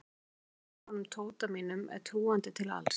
En ég veit að honum Tóta mínum er trúandi til alls.